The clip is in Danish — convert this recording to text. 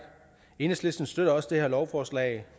enhedslisten støtter også det her lovforslag